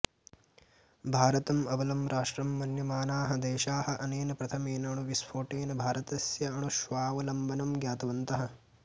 भारतम् अबलं राष्ट्रं मन्यमानाः देशाः अनेन प्रथमेन अणुविस्फोटेन भारतस्य अणुस्वावलम्बनं ज्ञातवन्तः